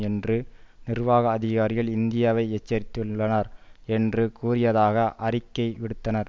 என்று நிர்வாக அதிகாரிகள் இந்தியாவை எச்சரித்துள்ளனர் என்று கூறியதாக அறிக்கை விடுத்தனர்